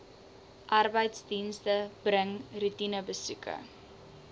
arbeidsdienste bring roetinebesoeke